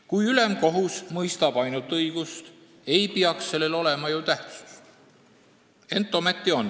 Kui ülemkohus mõistab ainult õigust, siis ei peaks sellel ju tähtsust olema, ent ometi on.